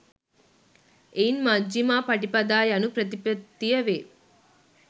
එයින් මජ්ඣිමා පටිපදා යනු ප්‍රතිපත්තිය වේ.